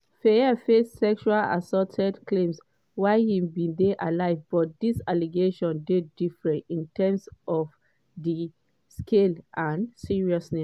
fayed face sexual assault claims while im bin dey alive but dis allegations dey different in terms of di scale and seriousness.